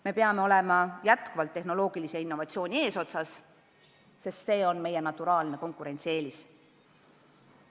Me peame olema jätkuvalt tehnoloogilise innovatsiooni eesotsas, sest see on meie naturaalne konkurentsieelis.